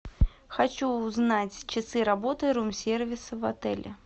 хочу узнать часы работы рум сервиса в отеле